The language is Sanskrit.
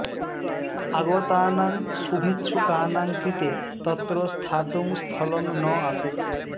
आगतानां शुभेच्छुकानां कृते तत्र स्थातुं स्थलं न आसीत्